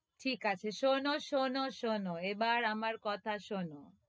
ঠিক আছে শোনো, শোনো, শোনো, এবার আমার কথা শোনো,